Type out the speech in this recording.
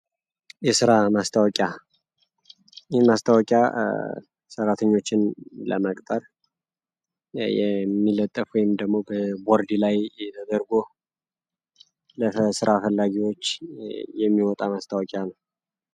ማስታወቂያ ሰራዓተኞችን ለመቅጠር የሚለጠፍ ወይም ደግሞ በቦርድ ላይ ተደርጎ ለሥራ ፈላጊዎች የሚወጣ መስታወቂያ ነው።